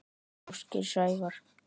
Ásgeir Sævar.